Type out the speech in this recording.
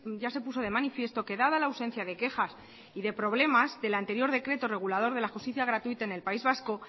ya se puso de manifiesto que dada la ausencia de quejas y de problemas del anterior decreto regulador de la justicia gratuita en el país vasco